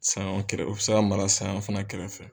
Saɲɔ kɛrɛ o be se ka mara saɲɔ fɛnɛ kɛrɛfɛ.